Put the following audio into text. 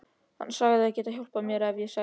Hann sagðist geta hjálpað mér ef ég segði satt.